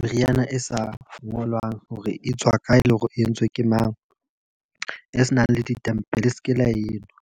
meriana e sa ngolwang hore e tswa kae le hore e entswe ke mang, e senang le ditempele le seke la enwa.